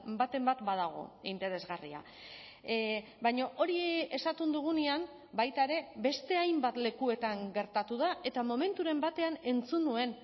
baten bat badago interesgarria baina hori esaten dugunean baita ere beste hainbat lekuetan gertatu da eta momenturen batean entzun nuen